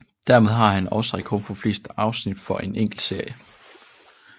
Dermed har den også rekorden for flest afsnit for en enkelt serie